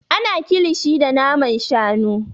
Ana kilishi da naman shanu.